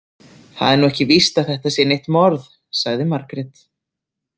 Það er nú ekki víst að þetta sé neitt morð, sagði Margrét.